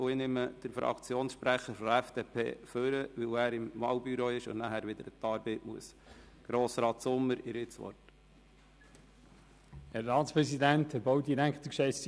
Ich ziehe den Fraktionssprecher der FDP vor, weil er dem Wahlbüro angehört und nachher wieder an die Arbeit muss.